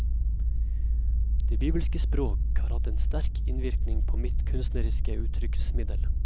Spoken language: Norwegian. Det bibelske språk har hatt en sterk innvirkning på mitt kunstneriske uttrykksmiddel.